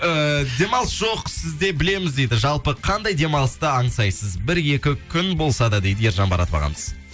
ііі демалыс жоқ сізде білеміз дейді жалпы қандай демалысты аңсайсыз бір екі күн болса да дейді ержан маратов ағамыз